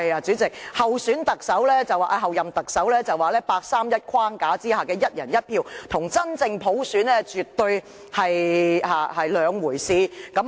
主席，候任特首所指的八三一框架下的"一人一票"，與真正普選絕對是兩回事。